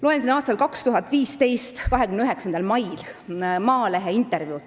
Loen 2015. aasta 29. mail Maalehes ilmunud intervjuud.